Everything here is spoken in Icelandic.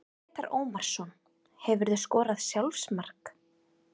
Grétar Ómarsson Hefurðu skorað sjálfsmark?